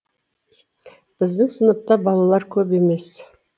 біздің сыныпта балалар көп емес